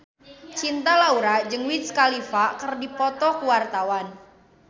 Cinta Laura jeung Wiz Khalifa keur dipoto ku wartawan